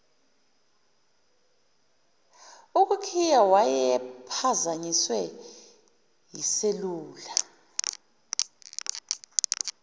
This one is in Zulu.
ukukhiya wayephazanyiswe yiselula